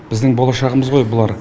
біздің болашағымыз ғой бұлар